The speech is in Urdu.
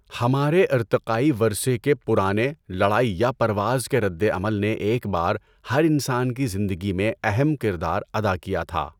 ہمارے ارتقائی ورثے کے پرانے 'لڑائی یا پرواز' کے رد عمل نے ایک بار ہر انسان کی زندگی میں اہم کردار ادا کیا تھا۔